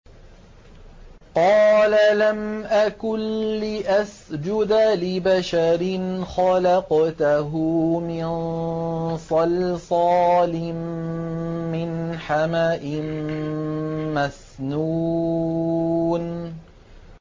قَالَ لَمْ أَكُن لِّأَسْجُدَ لِبَشَرٍ خَلَقْتَهُ مِن صَلْصَالٍ مِّنْ حَمَإٍ مَّسْنُونٍ